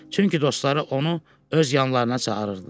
Çünki dostları onu öz yanlarına çağırırdılar.